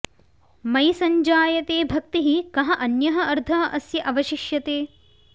मयि सञ्जायते भक्तिः कः अन्यः अर्थः अस्य अवशिष्यते